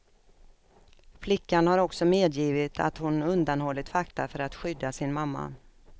Flickan har också medgivit att hon undanhållit fakta för att skydda sin mamma.